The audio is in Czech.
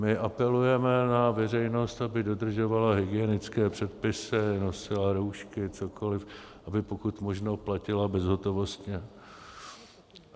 My apelujeme na veřejnost, aby dodržovala hygienické předpisy, nosila roušky, cokoli, aby pokud možno platila bezhotovostně.